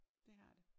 Dét har det